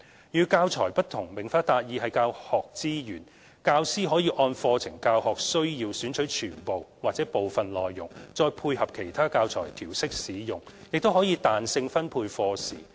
與"教材"不同，"明法達義"是教學資源，教師可按課程教學需要選取全部或部分內容再配合其他教材調適使用，亦可彈性分配課時。